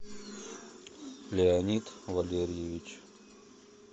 леонид валерьевич